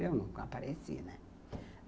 Eu nunca apareci, né?